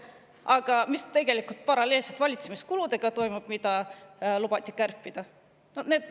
Aga mis paralleelselt toimub valitsemiskuludega, mida lubati kärpida?